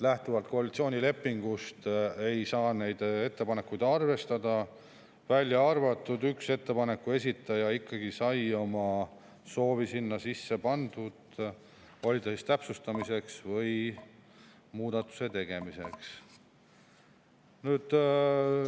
Lähtuvalt koalitsioonilepingust ei saa neid ettepanekuid arvestada, välja arvatud üks ettepanek, kus esitaja ikkagi sai oma soovi sinna sisse pandud, oli ta siis täpsustamiseks või muudatuse tegemiseks.